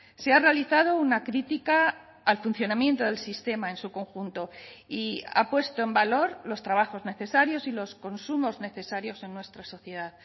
se ha realizado una crítica al funcionamiento del sistema en su conjunto y ha puesto en valor los trabajos necesarios y los consumos necesarios en nuestra sociedad